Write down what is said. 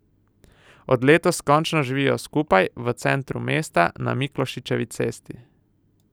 Od letos končno živijo skupaj, v centru mesta, na Miklošičevi cesti.